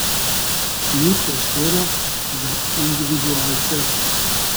Ni prostora za individualce.